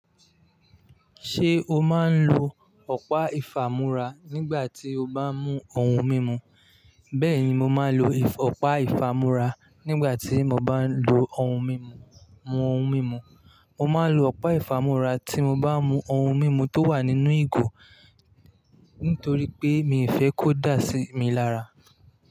Ṣé o máa ń lo ọ̀pá ìfàmúra nígbà tí o bá ń mú ohun mímu? Bẹ́ẹ̀ni, mo máa ń lo ọ̀pá ìfàmúra nígbà tí mo bá ń lo ohun mímu mu ohun mímu Mo máa ń lo ọ̀pá ìfàmúra tí mo bá ń mú ohun mímu tó wà nínú ìgò nítorí pé mi ò fẹ́ kó dà sí mi lára.